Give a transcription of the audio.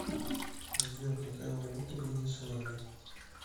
сбер какая валюта в венесуэле